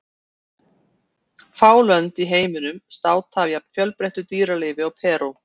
Fá lönd í heiminum státa af jafn fjölbreyttu dýralífi og Perú.